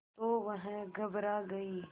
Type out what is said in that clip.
तो वह घबरा गई